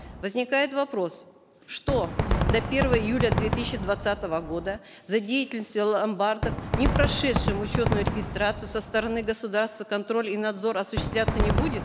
возникает вопрос что до первого июля две тысячи двадцатого года за деятельностью ломбардов не прошедших учетную регистрацию со стороны государства контроль и надзор осуществляться не будет